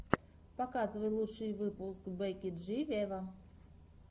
показывай лучший выпуск бекки джи вево